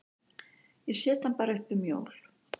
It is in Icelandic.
Ég set hann bara upp um jól.